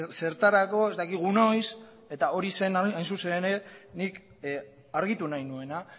zertarako ez dakigu noiz eta hori zen hain zuzen ere nik argitu nahi nuena